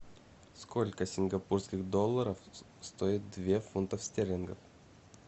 сколько сингапурских долларов стоит две фунтов стерлингов